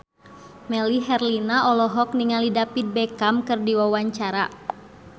Melly Herlina olohok ningali David Beckham keur diwawancara